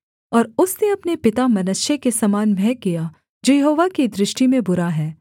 और उसने अपने पिता मनश्शे के समान वह किया जो यहोवा की दृष्टि में बुरा है